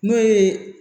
N'o ye